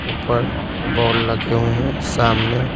ऊपर बॉल लगे हुए हैं सामने--